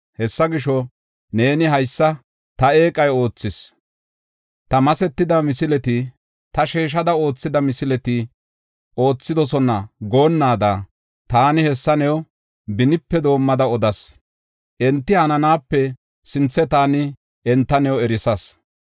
Hessa gisho, neeni, “Haysa ta eeqay oothis; ta masetida misileti, ta sheeshada oothida misileti oothidosona” goonnaada, Taani hessa new benipe doomada odas. Enti hananaape sinthe taani enta new erisas.